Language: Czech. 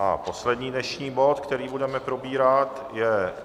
A poslední dnešní bod, který budeme probírat, je